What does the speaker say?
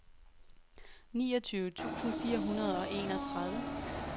niogtyve tusind fire hundrede og enogtredive